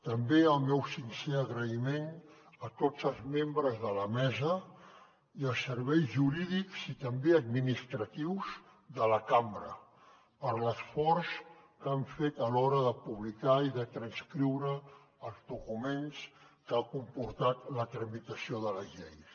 també el meu sincer agraïment a tots els membres de la mesa i als serveis jurídics i també administratius de la cambra per l’esforç que han fet a l’hora de publicar i de transcriure els documents que han comportat la tramitació de les lleis